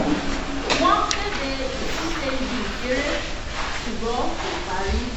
wọ́n kéde ìtúnṣe ibi ìṣeré ṣùgbọ́n kò parí